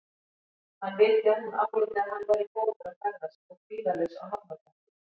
Hann vildi að hún áliti að hann væri góður að ferðast og kvíðalaus á hafnarbökkum.